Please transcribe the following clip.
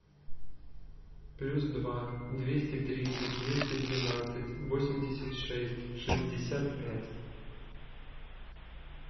плюс два двести тридцать двести двенадцать восемьдесят шесть шестьдесят пять